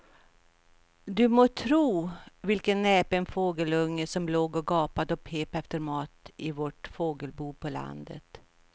Du må tro vilken näpen fågelunge som låg och gapade och pep efter mat i vårt fågelbo på landet.